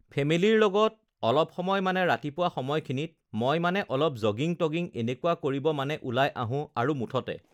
ফেমিলীৰ লগত মই অলপ সময় মানে ৰাতিপুৱা সময়খিনিত মই মানে অলপ জগিং- টগিং এনেকুৱা কৰিব মানে ওলাই আহোঁ আৰু মুঠতে